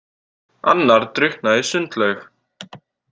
Annar drukknaði í sundlaug.